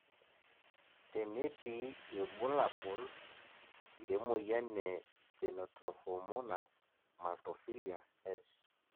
tenetii irbulabol, le moyian e Stenotrophomonas maltophilia (S.